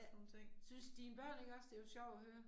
Syntes dine børn ikke også det var sjovt at høre?